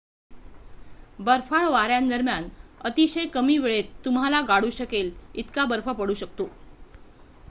बर्फाळ वाऱ्यांदरम्यान अतिशय कमी वेळेत तुम्हाला गाडून टाकू शकेल इतका बर्फ पडू शकतो